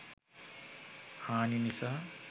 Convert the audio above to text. හානි නිසා